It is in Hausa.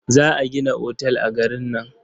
Za a gina otal a garin nan.